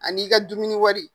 An'i ka dumuni wari.